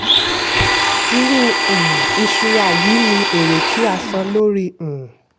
irú um ìṣura yìí ní èrè tí a san lórí. um